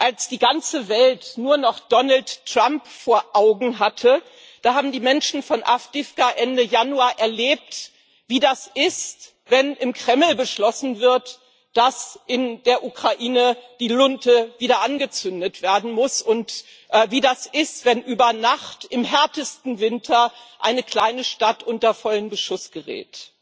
Als die ganze Welt nur noch Donald Trump vor Augen hatte, da haben die Menschen von Awdijiwka Ende Januar erlebt, wie das ist, wenn im Kreml beschlossen wird, dass in der Ukraine die Lunte wieder angezündet werden muss, und wie das ist, wenn über Nacht im härtesten Winter eine kleine Stadt unter vollen Beschuss gerät.